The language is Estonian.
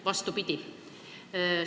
Vastupidi!